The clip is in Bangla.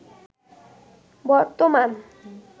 বর্তমান